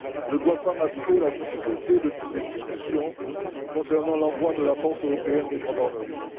ne doivent pas masquer la difficulté des discussions concernant l'envoi de la force européenne de gendarmerie.